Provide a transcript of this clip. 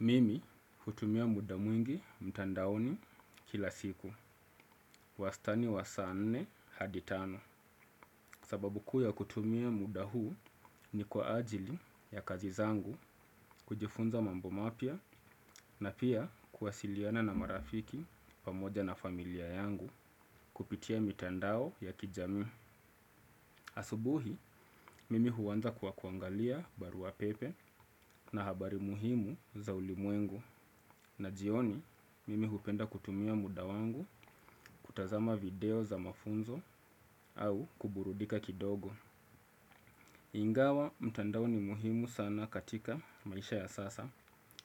Mimi hutumia muda mwingi mtandaoni kila siku wastani wa saa nne hadi tano. Sababu kuu ya kutumia muda huu ni kwa ajili ya kazi zangu kujifunza mambo mapya na pia kuwasiliana na marafiki pamoja na familia yangu kupitia mitandao ya kijamii. Asubuhi mimi huanza kuwa kuangalia barua pepe na habari muhimu za ulimwengu. Na jioni, mimi hupenda kutumia muda wangu kutazama video za mafunzo au kuburudika kidogo. Ingawa mtandao ni muhimu sana katika maisha ya sasa